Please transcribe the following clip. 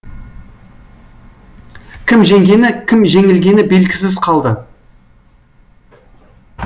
кім жеңгені кім жеңілгені белгісіз қалды